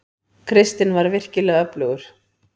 Kristinn var virkilega öflugur.